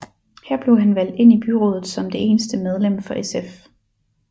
Her blev han valgt ind i byrådet som det eneste medlem for SF